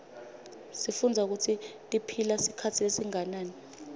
sifundza kutsi tiphila sikhatsi lesinganani